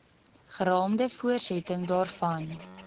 geraamde voortsetting daarvan